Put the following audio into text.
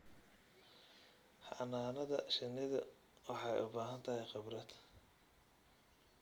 Xannaanada shinnidu waxay u baahan tahay khibrad.